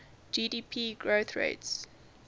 gdp growth rates